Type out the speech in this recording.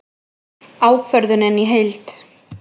Ákvörðunin í heild